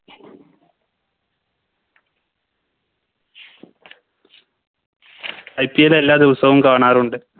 IPL എല്ലാ ദിവസവും കാണാറുണ്ട്